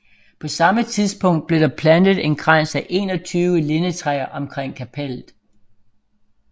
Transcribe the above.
På samme tidspunkt blev der plantet en krans af 21 lindetræer omkring kapellet